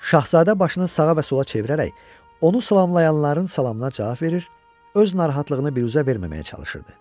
Şahzadə başını sağa və sola çevirərək onu salamlayanların salamına cavab verir, öz narahatlığını biruzə verməməyə çalışırdı.